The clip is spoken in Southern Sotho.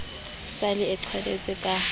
sa le e qheletswe ka